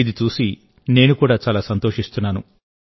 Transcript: ఇది చూసి నేను కూడా చాలా సంతోషిస్తున్నాను